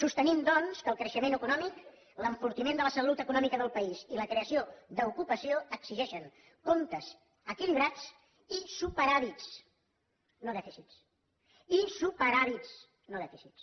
sostenim doncs que el creixement econòmic l’enfortiment de la salut econòmica del país i la creació d’ocupació exigeixen comptes equilibrats i superàvits no dèficits i superàvits no dèficits